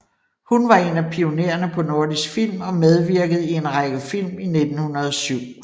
Hun var en af pionererne på Nordisk Film og medvirkede i en række film i 1907